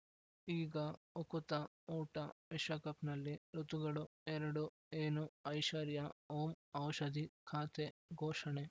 ಈಗ ಉಕುತ ಊಟ ವಿಶ್ವಕಪ್‌ನಲ್ಲಿ ಋತುಗಳು ಎರಡು ಏನು ಐಶ್ವರ್ಯಾ ಓಂ ಔಷಧಿ ಖಾತೆ ಘೋಷಣೆ